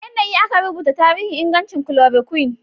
Wane yanayi aka rubuta tarihin ingancin chloroquine?